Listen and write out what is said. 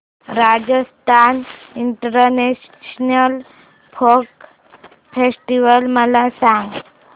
Rajasthan international folk festival मला सांग